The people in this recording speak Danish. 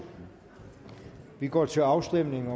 vi går til afstemning